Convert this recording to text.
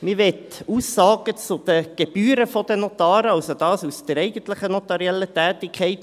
Man möchte Aussagen zu den Gebühren der Notare, also das betreffend die eigentliche notarielle Tätigkeit.